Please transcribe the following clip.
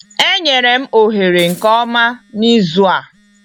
Enyere m ohere nke ọma n'izu a.